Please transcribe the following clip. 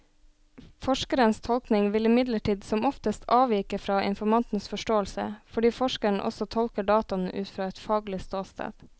Forskerens tolkning vil imidlertid som oftest avvike fra informantens forståelse, fordi forskeren også tolker dataene ut fra et faglig ståsted.